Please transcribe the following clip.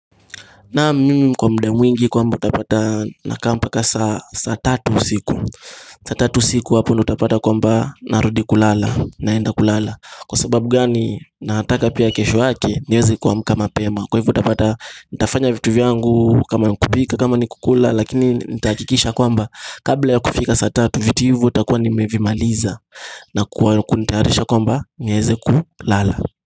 Naam mi kwa muda mwingi kwamba utapata na kaa mpaka saa saa tatu siku saa tatu usiku hapo ndo utapata kwamba narudi kulala naenda kulala Kwa sababu gani nataka pia kesho yake nieze kuamka pema Kwa hivu utapata nitafanya vitu vyangu kama nkupika kama nikukula Lakini nitahakikisha kwamba Kabla ya kufika saa tatu vitu hivu utakuwa nimevimaliza na kuwa kunitaharisha kwa mba nieze kulala.